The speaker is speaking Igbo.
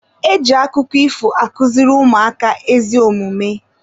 E ji akụkọ ifo akụziri ụmụaka ezi omume.